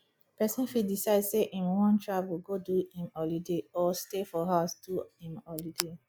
persin fit decide say im won travel go do im holiday or stay for house do im holiday